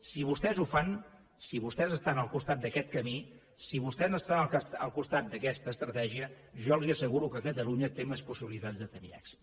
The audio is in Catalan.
si vostès ho fan si vostès estan al costat d’aquest camí si vostès estan al costat d’aquesta estratègia jo els asseguro que catalunya té més possibilitats de tenir èxit